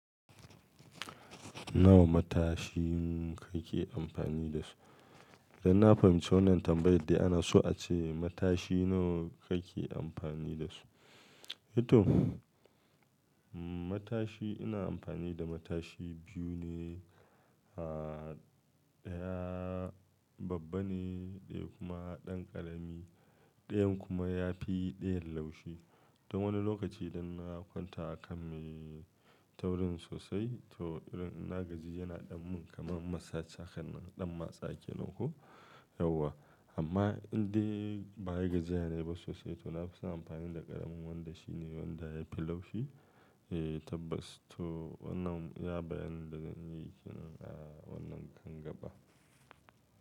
Nawa matashi kake amfani da su? Dan na fahimci wannan tambayar da ana so a ce matashi nawa kake amfani da su? To matashi ina amfani da matashi biyu ne, ah ɗaya babba ne ɗaya kuma ɗan ƙarami. Ɗayan kuma ya fi ɗayan laushi. Don wani lokaci idan na kwanta a kan mai taurin sosai to irin ina gaji yana ɗan mun kaman masa cakar ɗan matsaki nako, yauwa. Amma in dai ba yi gajiya ne ba sosai to na fi son amfani da ƙaramin wanda shi ne wanda ya fi laushi. Eh tabbas to wannan ya bayyana da zan yi wannan kanga ba.